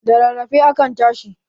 Da rarrafe akan tashi